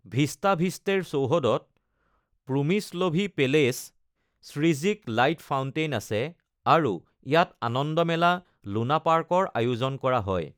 ভিষ্টাভিষ্টেৰ চৌহদত প্ৰুমিশ্লভি পেলেচ, শ্ৰিজিক লাইট ফাউণ্টেইন আছে আৰু ইয়াত আনন্দ মেলা লুনাপাৰ্কৰ আয়োজন কৰা হয়।